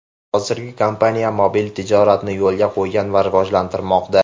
Hozirda kompaniya mobil tijoratni yo‘lga qo‘ygan va rivojlantirmoqda.